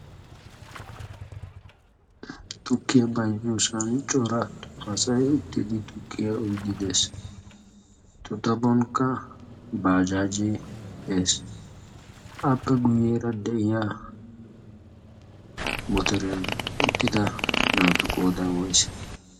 tukkiyaa bayzziyosaani coraa asayi uttiiddi tukkiyaa uyidi dees eta xaphonkka baajaajee dees appe guyyeera de'iya motariyan uttida naatu qoodai wais